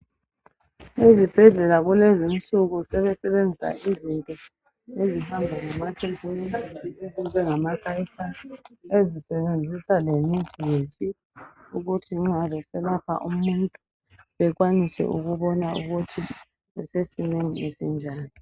Ezibhedlela kulezi insuku sebesebenzisa izinto ezihamba lamatekinoloji ezinjengama sayithasi ezisebenzisa lemithi yethu ukuthi nxa beselapha umuntu bekwanise ukubona ukuthi usesimeni esinjani.